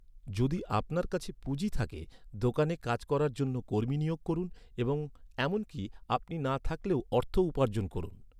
যদি আপনার কাছে পুঁজি থাকে, দোকানে কাজ করার জন্য কর্মী নিয়োগ করুন এবং এমনকি, আপনি না থাকলেও অর্থ উপার্জন করুন।